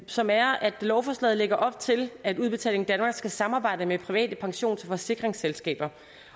som er at lovforslaget lægger op til at udbetaling danmark skal samarbejde med private pensions og forsikringsselskaber